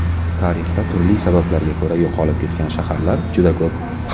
Tarixda turli sabablarga ko‘ra yo‘qolib ketgan shaharlar juda ko‘p.